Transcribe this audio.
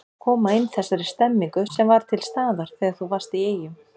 Koma inn þessari stemmningu sem var til staðar þegar þú varst í Eyjum?